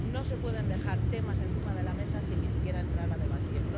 No se pueden dejar temas encima de la mesa, sin ni siquiera entrar a debatir.